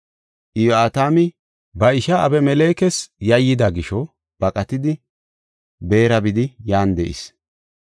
Iyo7atami ba ishaa Abimelekes yayyida gisho baqatidi Beera bidi yan de7is.